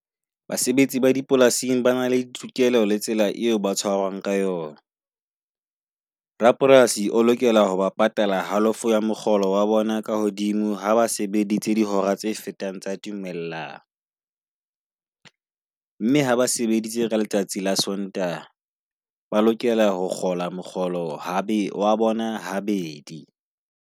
Basebetsi ba dipolasing ba na le tokelo le tsela eo ba tshwarwang ka yona. Rapolasi o lokela hoba patala halofo ya mokgolo wa bona ka hodimo. Ha ba sebeditse di hora tse fetang tsa tumellano, mme ha ba sebeditse ka letsatsi la Sontaha, ba lokela ho kgola mokgolo wa bona habedi.